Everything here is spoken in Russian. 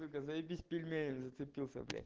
сука заебись пельменем зацепился блять